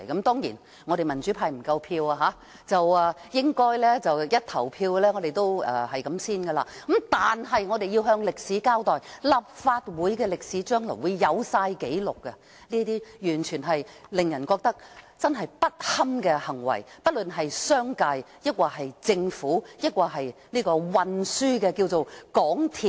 當然，民主派不夠票，議案付諸表決時應該也無法通過，但是我們要向歷史交代，立法會將來會備齊所有紀錄，記錄不論是商界或政府，或運輸界的港鐵公司的這些行為，完全令人覺得不堪。